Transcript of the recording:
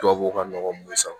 Tubabuw ka nɔgɔ mun ye san